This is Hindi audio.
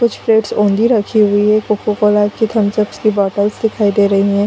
कुछ प्लेट ओनली रखी हुई है कोको - कोला की थम्स - अप की बोटल्स दिखाई दे रही हैं।